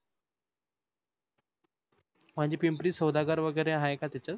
म्हणजे पिंपरीत सोदागर वगैरे आहे का त्याच?